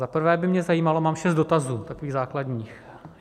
Za prvé by mě zajímalo - mám šest dotazů, takových základních.